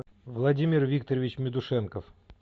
владимир викторович медушенков